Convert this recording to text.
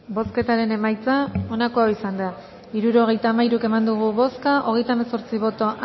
bozketaren emaitza onako izan da hirurogeita hamabost eman dugu bozka hogeita hemezortzi boto